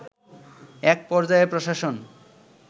এক পর্যায়ে প্রশাসন